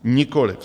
Nikoliv.